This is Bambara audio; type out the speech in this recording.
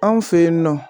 Anw fe yen nɔ